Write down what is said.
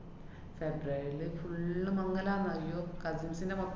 ഫെബ്രുവരീല് full മംഗലാന്ന്. അയ്യോ cousins ന്‍റെ മൊത്തം